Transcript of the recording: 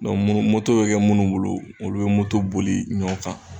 Dɔnku munu moto be kɛ munnu bolo olu be moto boli ɲɔ kan